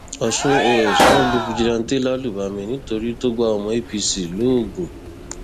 ọṣùn ọs wọn lu fìjìláńtẹ lálùbami nítorí tó gba ọmọ apc lóògùn